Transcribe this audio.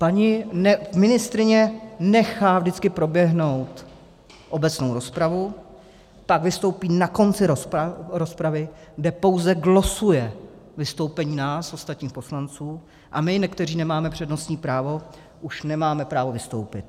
Paní ministryně nechá vždycky proběhnout obecnou rozpravu, pak vystoupí na konci rozpravy, kde pouze glosuje vystoupení nás, ostatních poslanců, a my, kteří nemáme přednostní právo, už nemáme právo vystoupit.